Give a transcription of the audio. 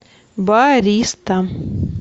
бариста